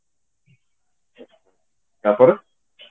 ତାପରେ